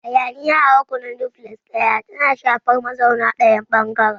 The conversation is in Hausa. Hayaniya a rukunin Duplex ɗaya tana shafar mazauna ɗayan ɓangaren.